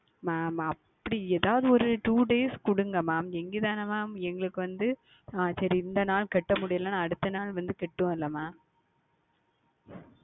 Mam அப்படி எதாவது ஓர் Two Days கொடுங்கள் Mam இங்கு தானே Mam எங்களுக்கு வந்து ஆஹ் சரி இந்த நாள் செலுத்த முடியவில்லை என்றால் அடுத்த நாள் வந்து செலுத்துவோம் அல்லவா Mam